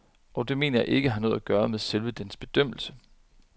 Og det mener jeg ikke har noget at gøre med selve dens bedømmelser.